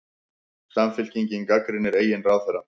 Samfylkingin gagnrýnir eigin ráðherra